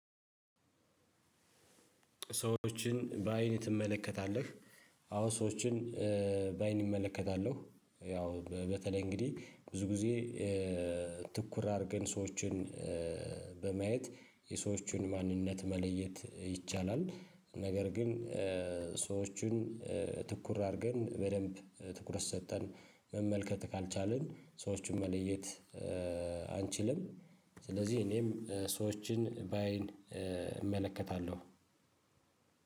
ሰዎችን በአይን ትመለከታለህ? አዎ ሰዎችን በአይን እመለከታለሁ ያው በተለይ እንግዲህ ብዙ ጊዜ ትኩር አድርገን ሰዎችን በማየት የሰዎችን ማንነት መለየት ይቻላል። ነገር ግን ሰዎችን ትኩር አርገን በደንብ ትኩረት ሰጠን መመልከት ካልቻልን ሰዎችን መለየት አንችልም። ስለዚህ እኔም ሰዎችን ባይን እመለከታለሁ።